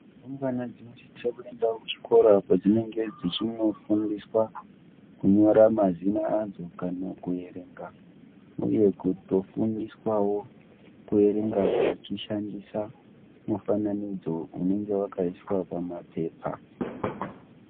Rumbwana dzinosisawo kuendawo ku chikora kwa dzinenge dzichindo fundiswa kunyora mazita adzo kana ku erenga uye kuto fundiswawo ku erenga vachi shandisa mufananidzo unenge wakaiswa pa mapepa.